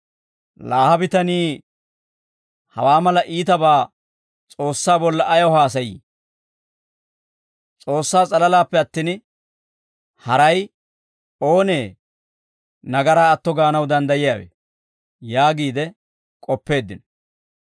«Laa ha bitanii hawaa mala iitabaa S'oossaa bolla ayaw haasayii? S'oossaa s'alalaappe attin, haray oonee nagaraa atto gaanaw danddayiyaawe?» yaagiide k'oppeeddino.